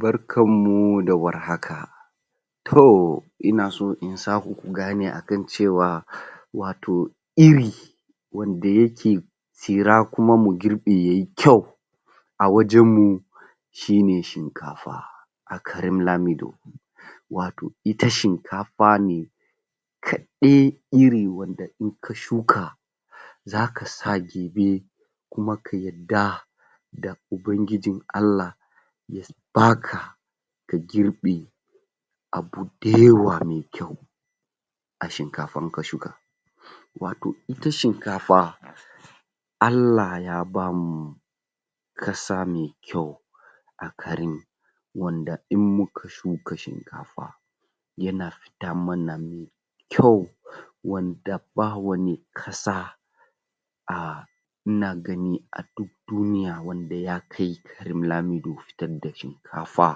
Barkann muu da warhaka toohh!!! ina so in saku ku gane akan cewa wato irii wanda ya.. ke tsira kuma mu girbe yayii kyau a wajen mu shi ne shinkafa a garin lamiɗo wato ita shin.. kafa ne kaɗai irin wanda in ka shuka zaka sa kuma ka yarda da ubangijin Allah da baka ka girɓe abu da yawa mai kyau a shinkafa in ka shuka wato ita shinkafa Allah ya bamu ƙasa mai kyau a garin wanda in muka shuka shinkafa yana kyau wanda ba wani ƙasa a yana gani a duk duniya wanda ya kai garin lamiɗo fitar da shinkafa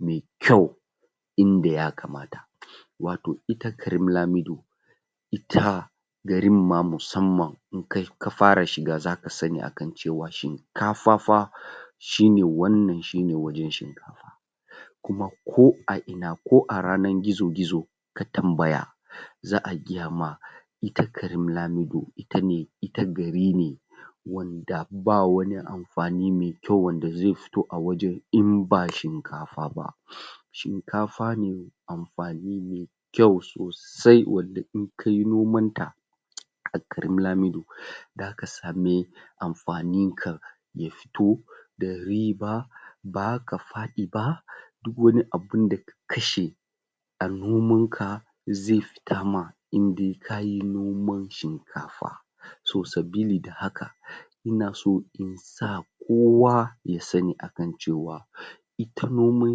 mai kyau inda ya kamata wato ita garin lamiɗo itaa garin ma musamman in kai ka fara shiga zaka sanni akan cewa shinkafa fa shi ne wannan, shi ne wai'in can kuma ko a ina ko a yanar gizo-gizo ka tambaya za'a gaya ma ita garin lamiɗo, ita ne ita gari ne wanda ba wani amfani me kyau wanda zai kyau, a wajen in ba shinkafa ba shinkafa ne amfani ne kyau so.. saii, wanda in kayi noman ta a garin lamiɗo zaka sa me amfanin ka ya da riiba ba zaka faɗi ba duk wani abinda ka kashe a noman ka zai ka indai kayi noman shinkafa so, sabili da haka ina so in kowa ya sanni akan kowa ita noman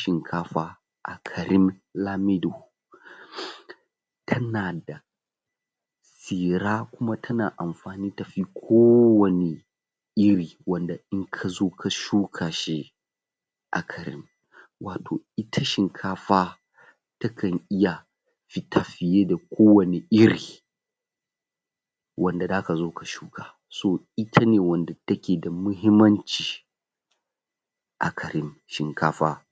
shinkafa a garin lamiɗo tana da kuma tana amfani tafi ko wanne irii wanda in ka zo ka shuka shi a garin wato ita shinkafa ta kan iya tafiye da ko wanne iri wanda zaka zo ka shuka so ita ne wanda ta ke da mahimmanci a garin shinkafa